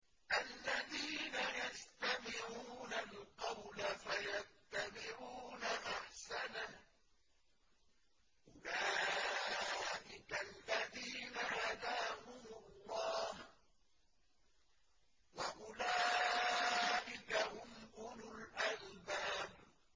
الَّذِينَ يَسْتَمِعُونَ الْقَوْلَ فَيَتَّبِعُونَ أَحْسَنَهُ ۚ أُولَٰئِكَ الَّذِينَ هَدَاهُمُ اللَّهُ ۖ وَأُولَٰئِكَ هُمْ أُولُو الْأَلْبَابِ